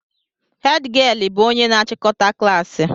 Hed gịel bụ onye na achikọta klaasị